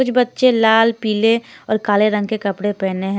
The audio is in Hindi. कुछ बच्चे लाल पीले और काले रंग के कपड़े पहने हैं।